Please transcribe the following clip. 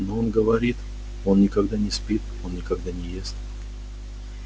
но он говорит он никогда не спит он никогда не ест